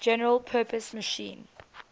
general purpose machine